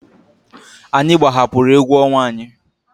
Anyị gbahapụrụ egwu ọnwa anyị.